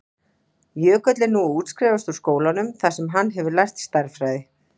Jökull er nú að útskrifast úr skólanum þar sem hann hefur lært stærðfræði.